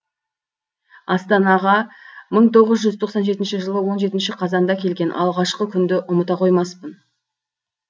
астанаға мың тоғыз жүз тоқсан жетінші жылы он жетінші қазанда келген алғашқы күнді ұмыта қоймаспын